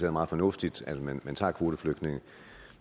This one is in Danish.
er meget fornuftigt at man tager kvoteflygtninge